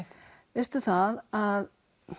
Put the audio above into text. veistu það að